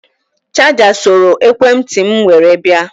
Chaja soro ekwe ntị m were bịa